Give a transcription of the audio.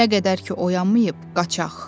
"Nə qədər ki oyanmayıb, qaçaq".